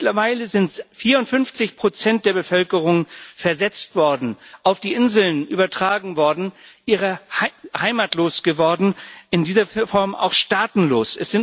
Mittlerweile sind 54 der Bevölkerung versetzt worden, auf die Inseln übertragen worden, heimatlos geworden, in dieser Form auch staatenlos.